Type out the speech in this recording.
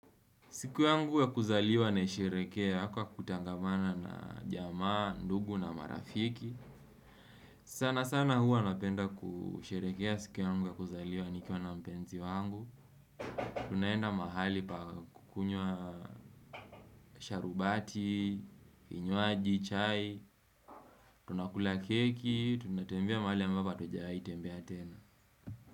Siku yangu ya kuzaliwa naisherehekea, kwa kutangamana na jamaa, ndugu na marafiki. Sana sana huwa napenda kusherehekea siku yangu ya kuzaliwa nikiwa na mpenzi wangu. Tunaenda mahali pa kukunywa sharubati, kinywaji, chai, tunakula keki, tunatembea mahali ambapo hatujai tembea tena.